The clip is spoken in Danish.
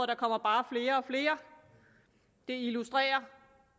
der kommer bare flere og flere det illustrerer